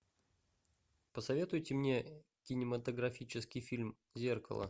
посоветуйте мне кинематографический фильм зеркало